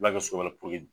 La kɛ so wɛrɛ